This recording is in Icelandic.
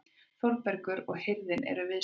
Þórbergur og hirðin eru viðstödd.